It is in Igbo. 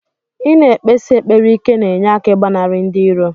Ina ekpesi ekpere ike na enye aka igbanari ndi iro.